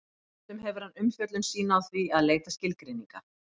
stundum hefur hann umfjöllun sína á því að leita skilgreininga